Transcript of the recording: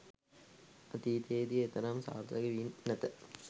අතීතයේදී එතරම් සාර්ථක වී නැත